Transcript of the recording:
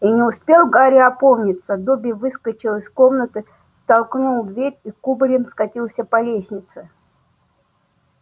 и не успел гарри опомниться добби выскочил из комнаты толкнул дверь и кубарем скатился по лестнице